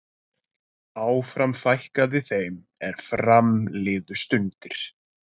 áfram fækkaði þeim er fram liðu stundir